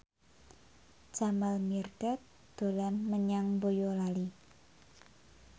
Jamal Mirdad dolan menyang Boyolali